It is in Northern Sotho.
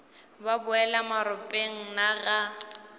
o boela maropeng na ga